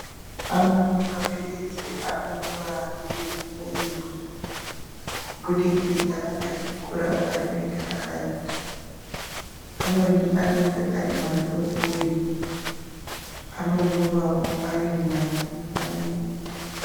Amweni maphiritsi anomwiwa rimwe rimwe kubudikidza ngekukura kwerinenge rakaita. Amweni anenge ari madodori, anomwiwawo arimairi-mairi.